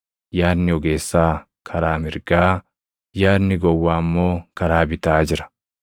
Yaadni ogeessaa karaa mirgaa, yaadni gowwaa immoo karaa bitaa jira.